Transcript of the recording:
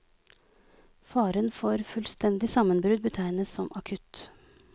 Faren for fullstendig sammenbrudd betegnes som akutt.